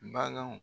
Baganw